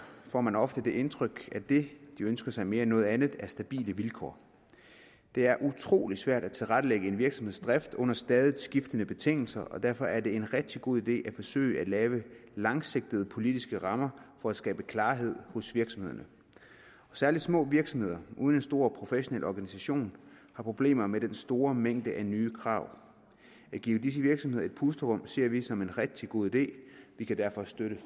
får man ofte det indtryk at det de ønsker sig mere end noget andet er stabile vilkår det er utrolig svært at tilrettelægge en virksomheds drift under stadig skiftende betingelser derfor er det en rigtig god idé at forsøge at lave langsigtede politiske rammer for at skabe klarhed hos virksomhederne særlig små virksomheder uden en stor professionel organisation har problemer med den store mængde nye krav at give disse virksomheder et pusterum ser vi som en rigtig god idé vi kan derfor støtte